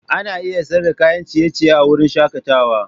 Ana iya siyar da kayan ciye-ciye a wurin shakatawa.